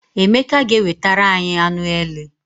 Emeka ga- ewetara anyị anụ ele.